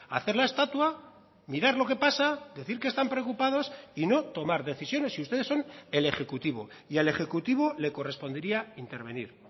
hacer la estatua mirar lo que pasa decir que están preocupados y no tomar decisiones y ustedes son el ejecutivo y al ejecutivo le correspondería intervenir